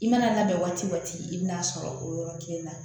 I mana labɛn waati o waati i bɛna'a sɔrɔ o yɔrɔnin kelen na